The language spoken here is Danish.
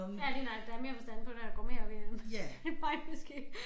Ja lige nøjagtig der har mere forstand på det og går mere op i det end mig måske